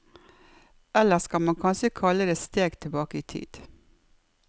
Eller skal man kanskje kalle det steg tilbake i tid.